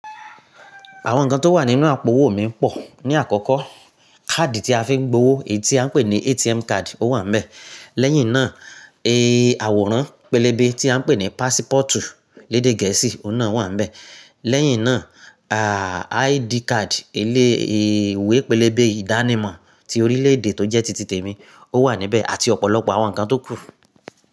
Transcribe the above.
Àwọn nǹkan tó wà nínú àpo owó mi pọ̀. Ni àkọ́kọ́, káàdì tí a fi ń gbowó èyí tí a ń pè ní ATM card ó wà níbẹ̀. Lẹ́yìn náà, ẹ́ àwòrán pẹlẹbẹ tí a ń pè ní passport lédè gẹ̀ẹ́sì ó ná wà níbẹ̀. Lẹ́yìn náà, a, ID card ilé ìwé pẹlẹbẹ ìdánimọ̀ ti orílẹ̀ èdè tó jẹ́ tìtìtẹ̀ mi ó wà níbẹ̀ àti ọ̀pọ̀lọpọ̀ àwọn nǹkan tó kù.